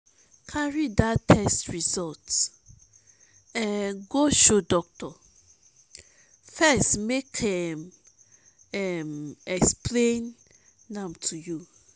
cari dat test result um go show dokitor first make em um explain am to you